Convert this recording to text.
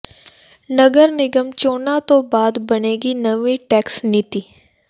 ਨਗਰ ਨਿਗਮ ਚੋਣਾਂ ਤੋਂ ਬਾਅਦ ਬਣੇਗੀ ਨਵੀਂ ਟੈਕਸ ਨੀਤੀ